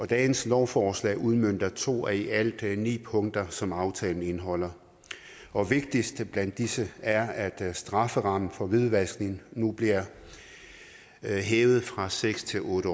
dagens lovforslag udmønter to af de i alt ni punkter som aftalen indeholder og vigtigst blandt disse er er at strafferammen for hvidvaskning nu bliver hævet fra seks til otte